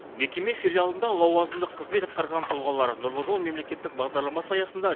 мекеме филиалында лауазымдық қызмет атқарған тұлғалар нұрлы жол мемлекеттік бағдарламасы аясында